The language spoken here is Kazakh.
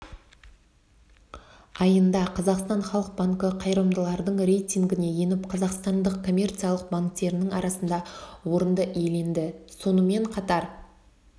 айында қазақстан халық банкі қайырымдылардың рейтингіне еніп қазақстандық коммерциялық банктерінің арасында орынды иеленді сонымен қатар